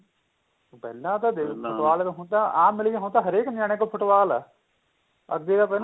ਪਹਿਲਾਂ ਤਾਂ ਦੇਖ ਲੋ football ਹਹੁਣ ਤਾਂ ਆਮ ਮਿਲ ਗਈ ਹੁਣ ਤਾਂ ਹਰੇਕ ਨਿਆਣੇ ਕੋਲ football ਏ ਅੱਧੇ ਤਾਂ ਪਹਿਲਾਂ